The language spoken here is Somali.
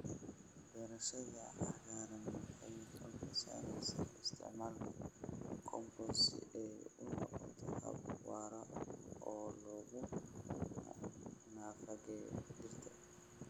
Beerashada cagaaran waxay xooga saaraysaa isticmaalka compost si ay u noqoto hab waara oo lagu nafaqeeyo dhirta.